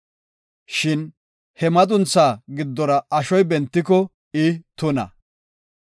Shin he maduntha giddora ashoy bentiko I tuna.